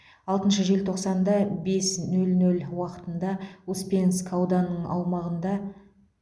алтыншы желтоқсанда бес нөл нөл уақытынды успенск ауданының аумағында